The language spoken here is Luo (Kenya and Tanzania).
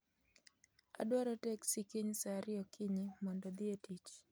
Adwaro teksi kiny saa ariyo okinyi mondo odhi e tich